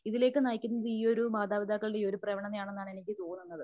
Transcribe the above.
ഇതിലേക്ക് നയിക്കുന്നത് ഈയൊരു മാതാപിതാക്കളുടെ പ്രവണതയാണെന്നാണ് എനിക്ക് തോന്നുന്നത്.